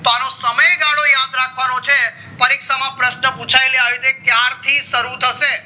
તો અનો સમય ગાળો યાદ ર્ખવાનો છે પરીક્ષા માં પ્રશન પુછાય આવી રીતે ક્યાર થી શરુ થશે